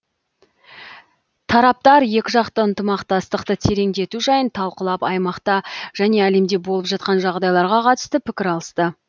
тараптар екіжақты ынтымақтастықты тереңдету жайын талқылап аймақта және әлемде болып жатқан жағдайларға қатысты пікір алысты